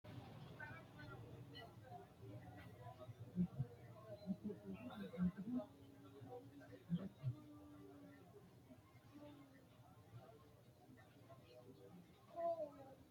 mannu kuni mayii daafira ofolle hasaawanna qonce haa'noonni misileeti tini? kuni manni uddirino uddano hiittee daga xawissanno? hattono amaaru afiinni borreessante noo borro mayiitannote?